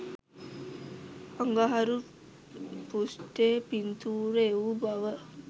අඟහරු පෘෂ්ටයේ පින්තුර එවූ බව